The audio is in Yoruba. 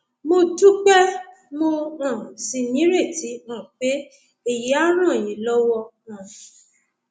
mo dúpẹ mo um sì nírètí um pé èyí á ràn yín lọwọ um